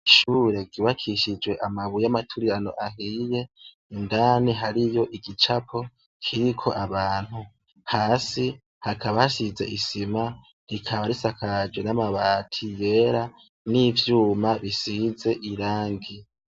ishure ryubakishijwe amabuye amaturirano ahiye indani hariyo igicapo kiriko abantu hasi hakaba hasize isima rikaba risakaje n'amabati yera n'ivyuma bisize irangi